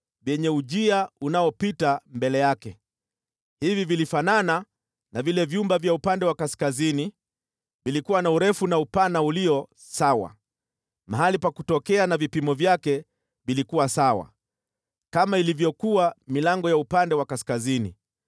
vyenye ujia unayopita mbele yake. Hivi vilifanana na vile vyumba vya upande wa kaskazini, vilikuwa na urefu na upana ulio sawa, mahali pa kutokea na vipimo vyake vilikuwa sawa. Kama ilivyokuwa milango ya upande wa kaskazini,